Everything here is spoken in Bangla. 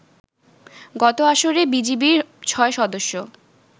গত আসরে বিজিবির ছয় সদস্য